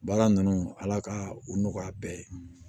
Baara ninnu ala ka u nɔgɔya a bɛɛ ye